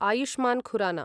Ayushman Khurana